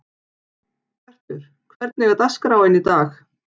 Bjartur, hvernig er dagskráin í dag?